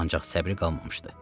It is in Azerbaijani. Ancaq səbri qalmamışdı.